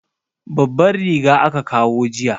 Babban riga aka kawo jiya.